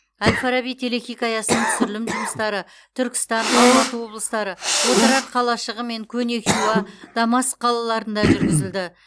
әл фараби телехикаясының түсірілім жұмыстары түркістан алматы облыстары отырар қалашығы мен көне хиуа дамаск қалаларында жүргізілді